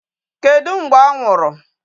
Kedụ mgbe ọ nwụrụ?